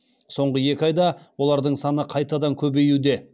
соңғы екі айда олардың саны қайтадан көбеюде